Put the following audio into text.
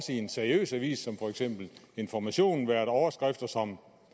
en seriøs avis som information været overskrifter som